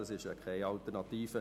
Das ist keine Alternative.